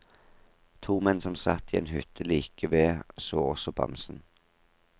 To menn som satt i en hytte like ved så også bamsen.